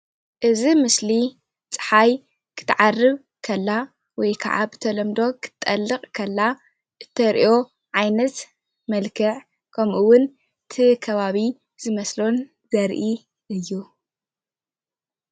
እዚ ምስሊ ፅሓይ ክትዓርብ ከላ ወይ ከዓ ብተለምዶ ክትጠልቅ ከላ እተርእዮ ዓይነት መልኽዕ ከምኡ እዉን እቲ ከባቢ ዝመስሎን ዘርኢ እዩ።